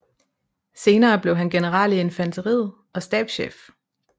Senere blev han general i infanteriet og stabschef